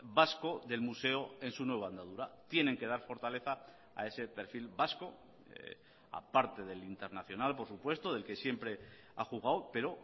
vasco del museo en su nueva andadura tienen que dar fortaleza a ese perfil vasco a parte del internacional por supuesto del que siempre ha jugado pero